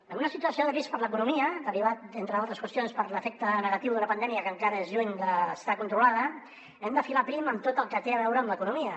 en una situació de risc per a l’economia derivada entre d’altres qüestions per l’efecte negatiu d’una pandèmia que encara és lluny d’estar controlada hem de filar prim amb tot el que té a veure amb l’economia